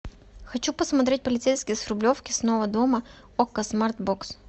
хочу посмотреть полицейский с рублевки снова дома окко смарт бокс